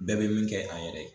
Bɛɛ bɛ min kɛ a yɛrɛ ye.